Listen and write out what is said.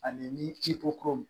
Ani ni i ko ko